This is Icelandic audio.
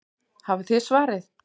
Hafið þið svarið?